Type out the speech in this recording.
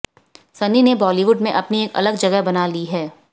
सन्नी ने बॉलीवुड में अपनी एक अलग जगह बना ली है